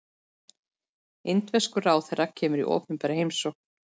Indverskur ráðherra kemur í opinbera heimsókn